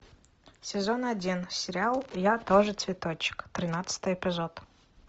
сезон один сериал я тоже цветочек тринадцатый эпизод